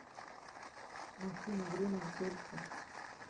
афина время в дельфы